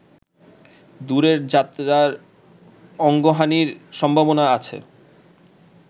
দূরের যাত্রার অঙ্গহানির সম্ভাবনা আছে।